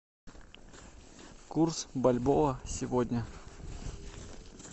курс бальбоа сегодня